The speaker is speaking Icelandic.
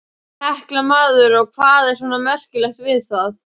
Hekla maður, og hvað er svona merkilegt við það.